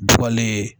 Duwele